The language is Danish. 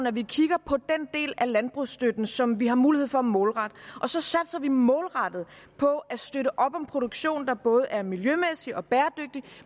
at vi kigger på den del af landbrugsstøtten som vi har mulighed for at målrette og så satser vi målrettet på at støtte op om produktion der både er miljømæssig og bæredygtig